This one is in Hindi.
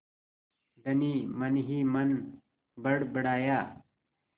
धनी मनहीमन बड़बड़ाया